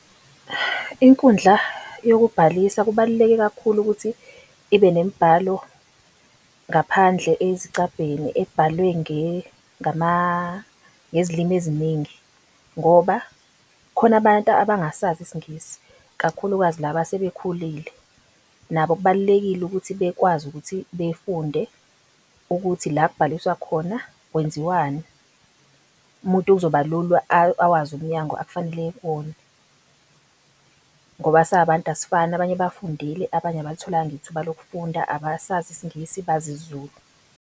Inkundla yokubhalisa kubaluleke kakhulu ukuthi ibe nemibhalo ngaphandle esicabheni ebhalwe ngezilimi eziningi. Ngoba khona abantu abangasazi isingisi kakhulukazi laba asebekhulile, nabo kubalulekile ukuthi bekwazi ukuthi befunde ukuthi la kubhaliswa khona kwenziwani, umuntu kuzoba lula awazi umnyango akufanele eye kuwona, ngoba sabantu asifani abanye bafundile, abanye abalitholanga ithuba lokufunda abasazi Isingisi bazi isiZulu.